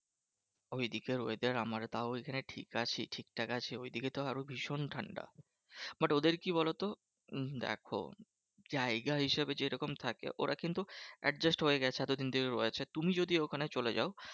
ঐদিকের weather আমারা তাও এখানে ঠিক আছি ঠিকঠাক আছি। ঐদিকে তো আরো ভীষণ ঠান্ডা। but ওদের কি বলতো? উম দেখো জায়গা হিসেবে যেরকম থাকে ওরা কিন্তু adjust হয়ে গেছে এতদিন থেকে আছে। তুমি যদি ওখানে চলে যাও